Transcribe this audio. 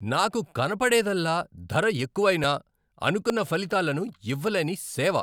నాకు కనపడేదల్లా ధర ఎక్కువైనా, అనుకున్న ఫలితాలను ఇవ్వలేని సేవ.